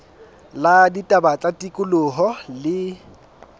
la ditaba tsa tikoloho le